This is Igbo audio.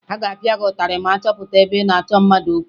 A ga-apịa gị ụtarị ma a hụ gị ebe ị na-achọ mmadụ okwu